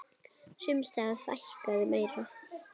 Sums staðar fækkaði meira.